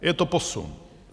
Je to posun.